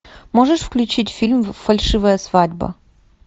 можешь включить фильм фальшивая свадьба